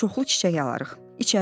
Gedib çoxlu çiçək alarıq.